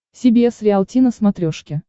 си би эс риалти на смотрешке